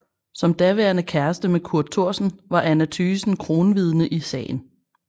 Som daværende kæreste med Kurt Thorsen var Anna Thygesen kronvidne i sagen